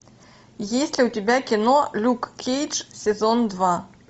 есть ли у тебя кино люк кейдж сезон два